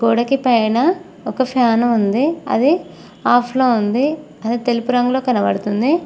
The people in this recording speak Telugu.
గోడకి పైన ఒక ఫ్యాన్ ఉంది అది ఆఫ్ లో ఉంది అది తెలుపు రంగులో కనబడుతుంది.